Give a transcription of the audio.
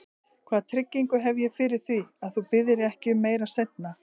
Hvaða tryggingu hef ég fyrir því, að þú biðjir ekki um meira seinna?